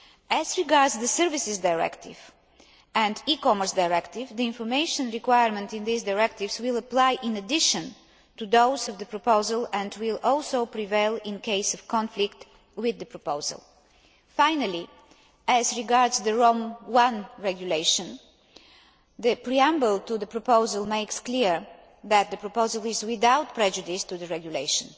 As regards the Services Directive and the E Commerce Directive, the information requirement in these Directives will apply in addition to those of the proposal and will also prevail in case of conflict with the proposal. Finally, as regards the Rome I Regulation, the preamble to the proposal makes it clear that the proposal is without prejudice to the Regulation.